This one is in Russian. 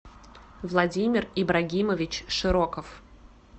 владимир ибрагимович широков